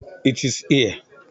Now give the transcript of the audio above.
It is here